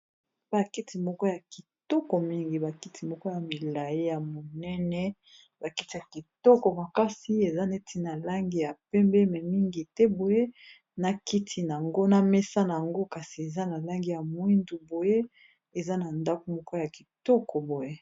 bakiti moko ya kitoko mingi bakiti moko ya milai ya monene bakitia kitoko makasi eza neti na langi ya pembeme mingi te boye na kiti nango na mesana yango kasi eza na langi ya moindu boye eza na ndaku moko ya kitoko boye